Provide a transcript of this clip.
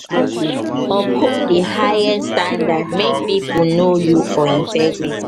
uphold di highest highest standard make pipo know you for integrity